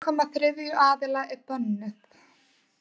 Aðkoma þriðja aðila er bönnuð.